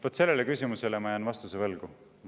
Vaat sellele küsimusele ma jään vastuse võlgu.